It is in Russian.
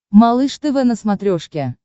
малыш тв на смотрешке